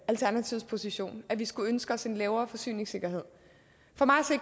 alternativets position at vi skulle ønske os en lavere forsyningssikkerhed for mig